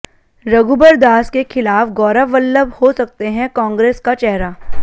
रघुबर दास के खिलाफ गौरव वल्लभ हो सकते हैं कांग्रेस का चेहरा